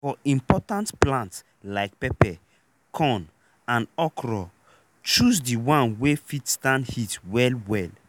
for important plant like pepper corn and okro choose di one wey fit stand heat well well.